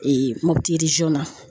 Mɔbiti na.